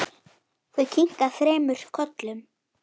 Þau kinka þremur kollum.